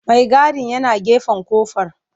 Maigadin yana gefen kofar.